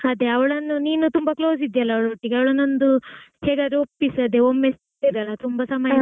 ಅದೇ ಅವಳನ್ನು ನೀನು ತುಂಬಾ close ಇದ್ದೀಯಲ್ಲಾ ಅವ್ಳೊಟ್ಟಿಗೆ ಅವಳನ್ನು ಹೇಗಾದ್ರೂ ಒಪ್ಪಿಸು ಒಮ್ಮೆ ತುಂಬಾ ಸಮಯ ಆಯ್ತಲ್ಲಾ?